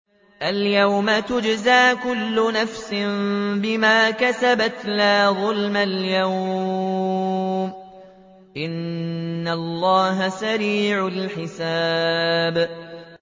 الْيَوْمَ تُجْزَىٰ كُلُّ نَفْسٍ بِمَا كَسَبَتْ ۚ لَا ظُلْمَ الْيَوْمَ ۚ إِنَّ اللَّهَ سَرِيعُ الْحِسَابِ